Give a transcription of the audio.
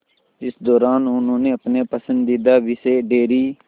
इस दौरान उन्होंने अपने पसंदीदा विषय डेयरी